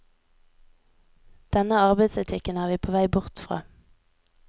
Denne arbeidsetikken er vi på vei bort fra.